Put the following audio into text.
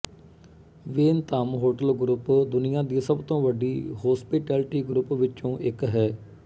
Wyndham hotel group ਦੁਨਿਆ ਦੀ ਸਭ ਤੋ ਵਡੀ ਹੋਸਪਿਟੈਲਿਟੀ ਗ੍ਰੋਉਪ ਵਿੱਚੋਂ ਇੱਕ ਹੈ